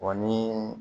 Wa ni